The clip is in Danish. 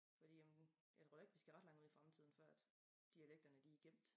Fordi jamen jeg tror ikke vi skal ret langt ud i fremtiden før at dialekterne de gemt